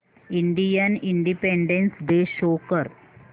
Indian independence day show कर